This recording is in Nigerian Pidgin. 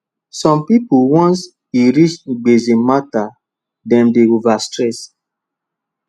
some people once e reach gbese matter dem dey over stress